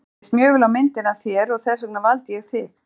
Mér leist mjög vel á myndina af þér og þess vegna valdi ég þig.